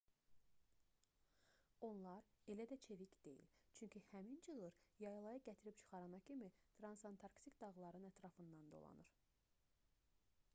onlar elə də çevik deyil çünki həmin çığır yaylaya gətirib çıxarana kimi transantarktik dağların ətrafından dolanır